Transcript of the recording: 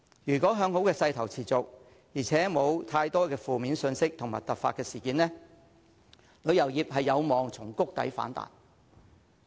如果向好的勢頭持續，而且沒有太多負面信息和突發事件，旅遊業有望從谷底反彈。